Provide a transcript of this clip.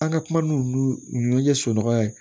An ka kuma n'ulu ye so nɔgɔya ye